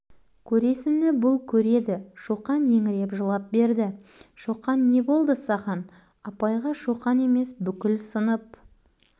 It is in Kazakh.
апай шоқанның өзі шоқан қуанышты ұрды бауыржан ара түсті бауыржанды ұрмақ болып еді қолы тимей өзі